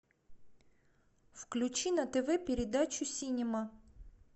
включи на тв передачу синема